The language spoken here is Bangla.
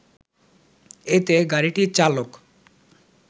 এতে গাড়িটির চালক